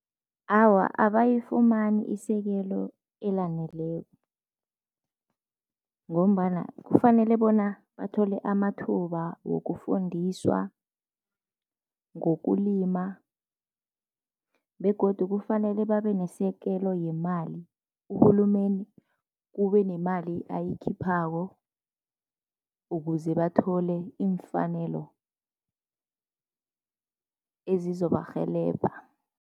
Awa abayifumani isekelo elaneleko, ngombana kufanele bona bathole amathuba wokufundiswa ngokulima begodu kufanele babe nesekelo yemali, uhulumeni kube nemali ayikhiphako ukuze bathole iimfanelo ezizobarhelebha.